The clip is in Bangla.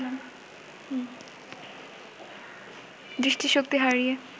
দৃষ্টিশক্তি হারিয়ে